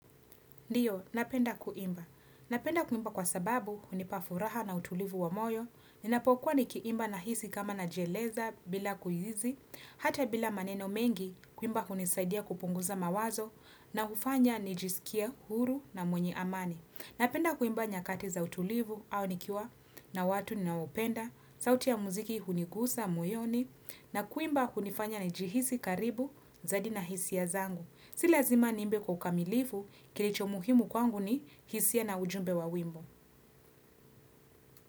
Ndiyo, napenda kuimba. Napenda kuimba kwa sababu hunipa furaha na utulivu wa moyo, ninapokuwa nikiimba nahisi kama najieleza bila kuhizi, hata bila maneno mengi, kuimba hunisaidia kupunguza mawazo na hufanya nijisikie huru na mwenye amani. Napenda kuimba nyakati za utulivu au nikiwa na watu ninaopenda, sauti ya muziki hunigusa muioni na kuimba kunifanya nijihisi karibu zadi na hisia zangu. Silazima niimbe kwa ukamilifu kilicho muhimu kwangu ni hisia na ujumbe wa wimbo.